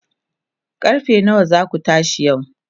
karfe nawa zaku tashi yau?